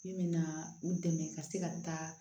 Min mɛna u dɛmɛ ka se ka taa